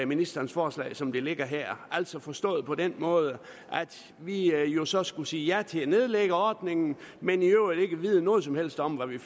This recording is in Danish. ministerens forslag som det ligger her altså forstået på den måde at vi jo jo så skulle sige ja til at nedlægge ordningen men i øvrigt ikke ved noget som helst om hvad vi